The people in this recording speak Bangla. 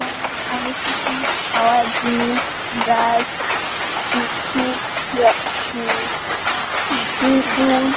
এখানে অনেক কিছু খাওয়ার জিনিস ব্রাশ চিপস উম জুস্ ।